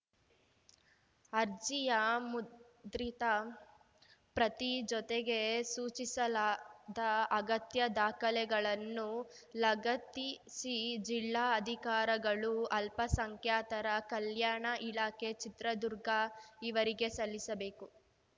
ಅರ್ಜಿಯ ಮುದ್ರಿತ ಪ್ರತಿ ಜೊತೆಗೆ ಸೂಚಿಸಲಾದ ಅಗತ್ಯ ದಾಖಲೆಗಳನ್ನು ಲಗತ್ತಿಸಿ ಜಿಲ್ಲಾ ಅಧಿಕಾರಗಳು ಅಲ್ಪಸಂಖ್ಯಾತರ ಕಲ್ಯಾಣ ಇಲಾಖೆ ಚಿತ್ರದುರ್ಗ ಇವರಿಗೆ ಸಲ್ಲಿಸಬೇಕು